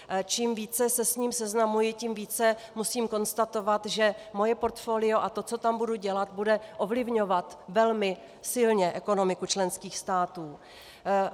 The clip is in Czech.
Čím více se s ním seznamuji, tím více musím konstatovat, že moje portfolio a to, co tam budu dělat, bude ovlivňovat velmi silně ekonomiku členských států.